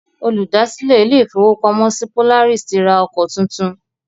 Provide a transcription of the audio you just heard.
Olùdásílẹ̀ ilé ìfọwọ́pamo Polaris ti ra ọkọ tuntun.